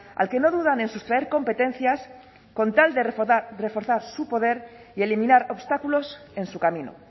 al que no dudan en sustraer competencias con tal de reforzar su poder y eliminar obstáculos en su camino